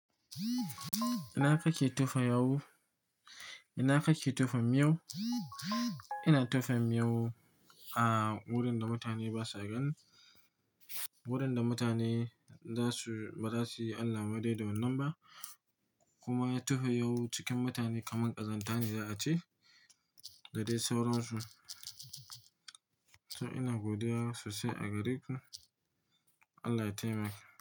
Ina kake tofa yawu? Ina kake tofa miyau? Ina tofa miyo a wurin da mutane basa gani, wurinda mutane basu, baza siyi allah wadai da wannan ba kuma tofa miyau cikin mutane kamar ƙazanta ne za a ce da dai sauran su. So ina godiya sosai a gare ku. Allah ya taimaki.